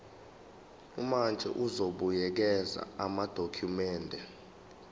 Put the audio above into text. umantshi uzobuyekeza amadokhumende